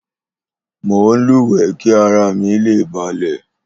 Mò ń lúwẹ̀ẹ́ kí ara mi lè balẹ̀